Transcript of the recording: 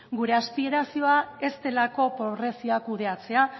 gure aspirazioa ez delako pobrezia kudeatzea